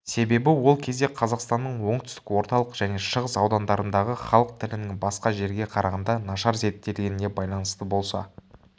себебі ол кезде қазақстанның оңтүстік орталық және шығыс аудандарындағы халық тілінің басқа жерге қарағанда нашар зерттелгеніне байланысты болса